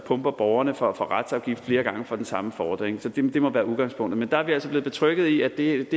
pumper borgerne for retsafgift flere gange for den samme fordring det må være udgangspunktet men der er vi altså blevet betrygget i at det ikke